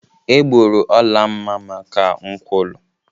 Egburu Olamma maka nkwulu.